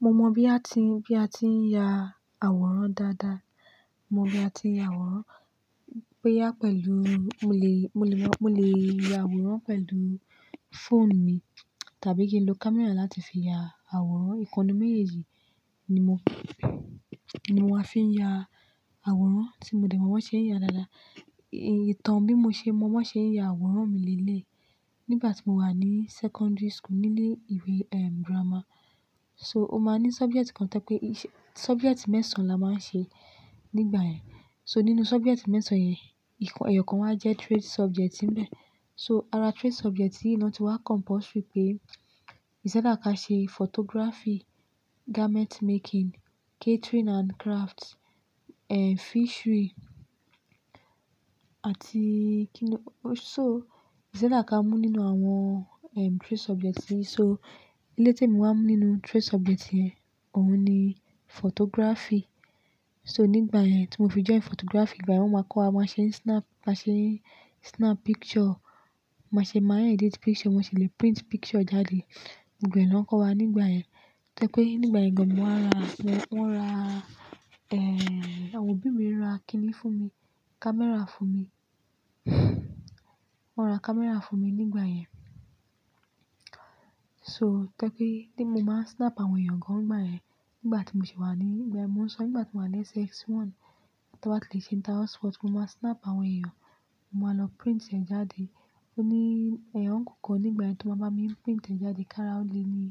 Mo mọ bí a ti ń ya àwòrán dáadáa. Mo mọ bí a ti ń ya àwòrán, bó ya pẹ̀lú-- mo lè ya àwòrán pẹ̀lú fóònù mi tàbí kí n lo camera láti fi ya àwòrán. Ìkan nú méjèèjì ni mo máa fi ń ya àwòrán tí mo dẹ̀ mọ wọ́n ṣe ń ya dáadáa. Ìtàn bí mo ṣe mọ wọ́n ṣe ń ya àwòrán mi lé lẹ̀. Nígbà tí mo wà ní secondary school nílé ìwé grammer, so ó máa ní subject kan tẹ́ pé subject mẹ́sàn-án la máa ń ṣe nígbà yẹn. So nínú subject mẹ́sàn-án yẹn, ẹ̀yọ̀ kan wà jẹ́ trade subject mìíràn. So ara trade subject yìí ni wọ́n ti wá compulsory pé, is either ká ṣe photography, garment making, catering and craft, fishery àti kí ni. So is either ká mú nínú àwọn trade subject yìí. So èléyìí te mi wá mú nínú trade subject yẹn, òun ni photography. So nígbà yẹn tí mo fi jọ́ìn photography, ìgbà yẹn wọ́n máa kọ́ wa máa ṣe ń snap picture, máa ṣe máa yàn edit picture, wọ́n sì lè print picture jáde. Gbogbo ẹ lọ ń kọ́ wa nígbà yẹn. Tó jẹ́ pé nígbà yẹn gan, wọ́n ra, àwọn òbí mi ra kíni fún mi, camera fún mi. Wọ́n ra camera fún mi nígbà yẹn. So tó jẹ́ pé bí mo máa ń snap àwọn ẹ̀yàn gan nígbà yẹn, nígbà tí mo sì wà ní, ìgbà yẹn mo ń sọ nígbà tí mo wà ní SS1, tí wọ́n bá ti lè ṣe inter house sport, mo máa snap àwọn ẹ̀yàn, mo máa lọ print ẹ jáde. Ó ní ẹ̀yán uncle kan nígbà yẹn tó máa bá mi ń print ẹ jáde. Karaole ni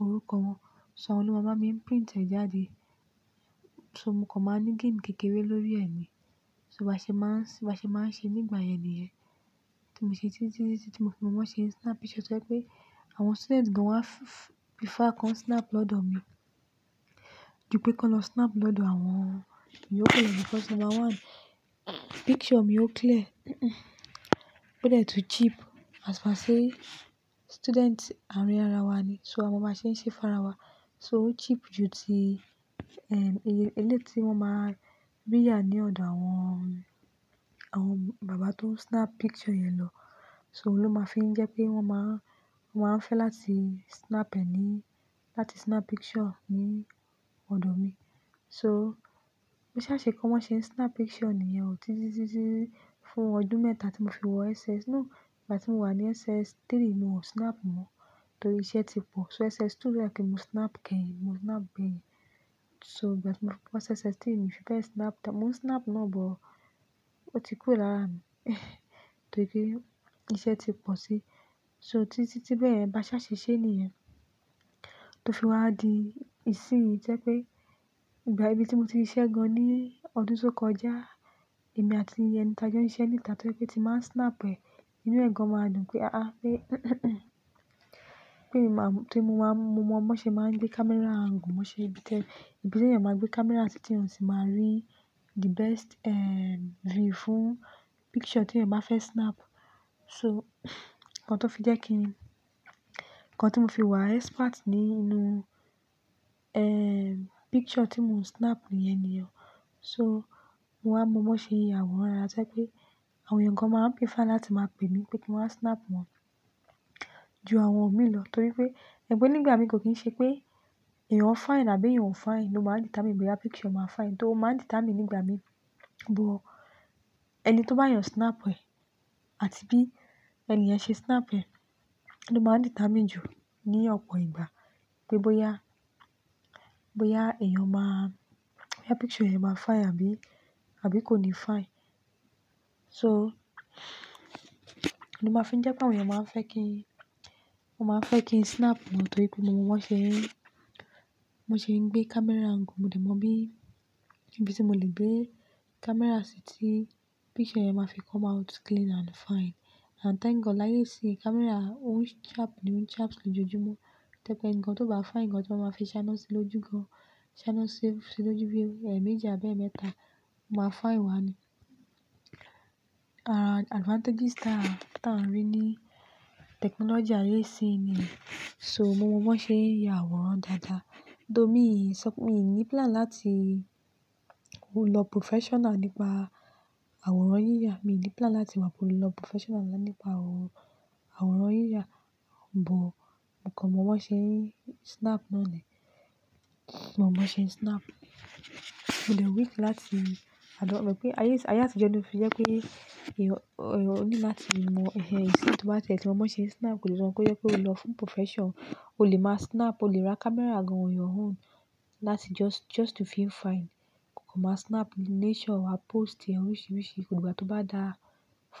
orúkọ wọn. So àwọn ló máa ń bá mi ń print ẹ jáde. So mo kàn máa ń ní gain kékeré lórí ẹ̀ mi. So bàá ṣe máa ń ṣe nígbà yẹn nìyẹn. Tí mo ṣe títí tí mọ́ fi mọ́n bọ ṣe ń snap picture tó jẹ́ pé àwọn student gan wá prefer kọ́ń snap lọ́dọ̀ mi. Jupé kó lọ snap lọ́dọ̀ àwọn ìyókù yẹn. Because number one, picture mi ó clear. Ó dẹ́ tún cheap. As per say student àárín ara wa ni, so à mọn báa ń ṣe ń ṣe fún ara wa. So ó cheap ju ti eléyi wọ́n máa ń rí ya ní ọ̀dọ̀ àwọn bàbá tó ń snap picture yẹn lọ. So òun ló máa ń fi jẹ́ pé wọ́n máa ń fẹ́ láti snap ẹ ní, láti snap picture ní ọ̀dọ̀ mi. So bí ṣá ṣe kí wọ́n ṣe ń snap picture nìyẹn títí fún ọdún mẹ́ta tí mo fi wọ SS. Nígbà tí mo wà ní SS3 ni mo snap mọ́ nítorí iṣẹ́ ti pọ̀. So SS2 rí láé kí n má snap kẹ́yìn, mo snap gbẹ́yìn. So nígbà tí mo fí bọ́ SS3 mi fẹ́ snap, mo ń snap náà, but ó ti kúrò lára mi nítorí pé iṣẹ́ ti pọ̀ si. So títí bẹ́ẹ̀, bá ṣá ṣe ṣe nìyẹn. Tí ó fi wá di ìsinyìí jẹ́ pé ìgbà ibi tí mo ti rí iṣẹ́ gan ní ọdún tó kọjá, èmi àti ẹni tí a jọ ń ṣe ń ìta tẹ́ pé tí máa ń snap ẹ, inú ẹ̀ẹ̀kan máa dùn pé tóí mo mọ wọ́n ṣe máa ń gbé camera angle, wọ́n ṣe bíi tẹ́lẹ̀. Ìbí tí ẹ̀yàn máa gbé camera sí tí èèyàn sì máa rí the best view fún picture tí ẹ̀yàn bá fẹ́ snap. So kan tó fi jẹ́ kí n-- kan tí mo fi wà expert nínú picture tí mo ń snap nìyẹn nìyẹn. So mo wá mọ wọ́n ṣe ń ya àwòrán rárá tẹ́ pé àwọn èèyàn gan máa ń pín fá láti máa pè mí pé kí n wá snap wọn ju àwọn mi lọ nítorí pé, ẹ̀gbẹ́ nígbà mi kò kí ń ṣe pé ẹ̀yàn fine àbí ẹ̀yàn fine ló máa ń determine bóyá picture máa fine. Tó máa ń determine nígbà mi, but ẹni tó bá yàn snap ẹ àti bí ẹni yẹn ṣe snap ẹ ni ó máa ń determine jù ní ọ̀pọ̀ ìgbà pé bóyá picture yẹn máa fine àbí kò ní fine. So ni ó máa ń fi jẹ́ pé àwọn èèyàn máa ń fẹ́ kí n snap wọn nítorí pé mo mọ wọ́n ṣe, mo ti ń gbé camera angle, mo dẹ̀ mọ bí, ibi tí mo lè gbé camera sí tí picture yẹn máa fi come out clean and fine. And thank God láyé yìí sí camera ó ń sharp nì, ó ń sharp ní ojojúmọ́ mi tẹ́ pé ǹkan tó bá fine gan tó máa fi ṣáná sí lójú gan, ṣáná sí lójú bí ẹméjì àbí ẹ̀mẹ́ta, ó máa fine wá ni. Advantages táà ń rí ní technology ayé i sì yí nìyẹn. So mo mọ wọ́n ṣe ń ya àwòrán dáadáa. Though, mi ò ní plan láti lọ professional nípa àwòrán yíyà. Mi ò ní plan láti wá lọ professional nípa àwòrán yíyà, but mo kàn mọ bọ́ ṣe ń snap náà ni. Mo mọ bọ́ ṣe ń snap. Mo dẹ̀ weak láti, ó dẹ̀ mọ pé ayé àtijọ́ ni o fi jẹ́ pé ẹ̀yàn ò ní láti mọ ẹhẹ ẹ sí ìbùdó tẹ́lẹ̀ kí wọ́n mọ ṣe snap. Ó le rọrùn kó yẹ kó lọ fún profession. O lè má snap, o lè ra camera gan on your own láti just to feel fine. Kò máa snap nature, wàá post rírìṣì rírìṣì. Òun ìgbà tó bá dá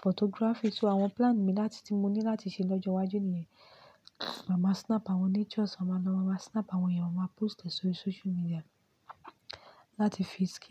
photography. So àwọn plan mi láti tí mo ní láti ṣe lọ́jọ́ iwájú nìyẹn. Máa má snap àwọn natures, máa má snap àwọn ẹ̀yàn, máa post ẹ sórí social media láti fi.